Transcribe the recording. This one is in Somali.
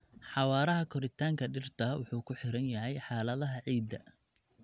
Xawaaraha koritaanka dhirta wuxuu ku xiran yahay xaaladaha ciidda.